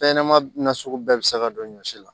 Fɛn ɲɛnɛma nasugu bɛɛ bɛ se ka don ɲɔsi la